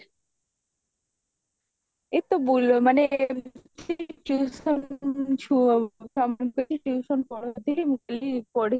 ଏକ ତ ବୁଲ ମାନେ tuition ଛୁଆଙ୍କୁ tuition କରଉଥିଲି ମୁଁ କହିଲି ପଢି